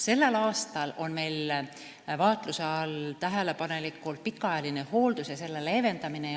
Sellel aastal on meil tähelepaneliku vaatluse all pikaajaline hooldus ja selle leevendamine.